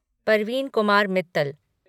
Parveen Kumar Mittal